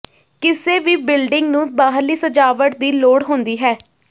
ਕਿਸੇ ਵੀ ਬਿਲਡਿੰਗ ਨੂੰ ਬਾਹਰਲੀ ਸਜਾਵਟ ਦੀ ਲੋੜ ਹੁੰਦੀ ਹੈ